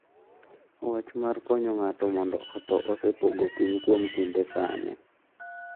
Wach mar konyo ng’ato mondo otho osepogo piny kuom kinde sani.